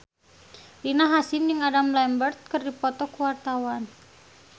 Rina Hasyim jeung Adam Lambert keur dipoto ku wartawan